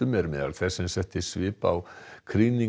er meðal þess sem setti svip á